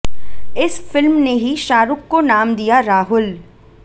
इस फिल्म ने ही शाहरूख को नाम दिया राहुल